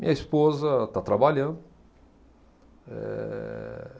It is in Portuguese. Minha esposa está trabalhando. Ehh